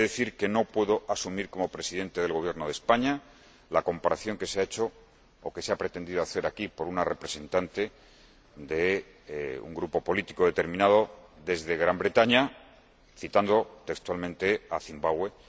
He de decir que no puedo asumir, como Presidente del Gobierno de España, la comparación que se ha hecho, o que se ha pretendido hacer aquí, por una representante de un grupo político determinado desde Gran Bretaña, citando textualmente a Zimbabue.